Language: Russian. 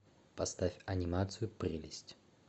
поставь анимацию прелесть